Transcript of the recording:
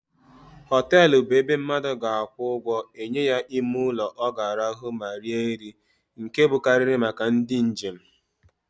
Hotelu bụ ebe mmadu ga akwụ ụgwọ enye ya ime ụlọ o ga-arahu ma rie nri, nke bụkarịrị màkà ndị njem.